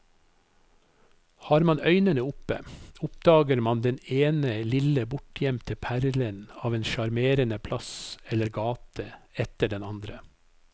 Har man øynene oppe, oppdager man den ene lille bortgjemte perlen av en sjarmerende plass eller gate etter den andre.